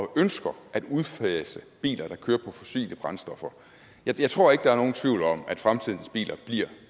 ønsker at udfase biler der kører på fossile brændstoffer jeg tror ikke der er nogen tvivl om at fremtidens biler bliver